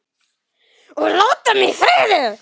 OG LÁTA MIG Í FRIÐI!